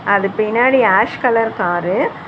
அது பின்னாடி ash colour car .